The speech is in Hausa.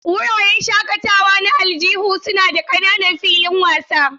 Wuraren shakatawa na aljihu suna da ƙananan filin wasa.